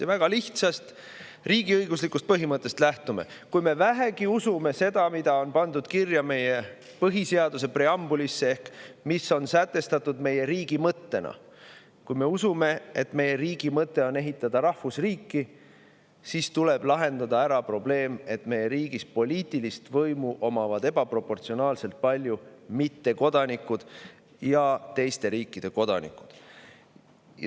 Me lähtume väga lihtsast riigiõiguslikust põhimõttest: kui me vähegi usume seda, mis on pandud kirja meie põhiseaduse preambulisse ehk mis on sätestatud meie riigi mõttena, kui me usume, et meie riigi mõte on ehitada rahvusriiki, siis tuleb lahendada ära probleem, et meie riigis omavad ebaproportsionaalselt palju poliitilist võimu mittekodanikud ja teiste riikide kodanikud.